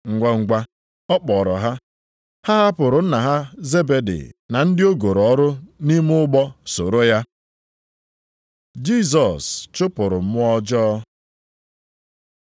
Ngwangwa, ọ kpọrọ ha, ha hapụrụ nna ha Zebedi na ndị o goro ọrụ nʼime ụgbọ soro ya. Jisọs chụpụrụ mmụọ ọjọọ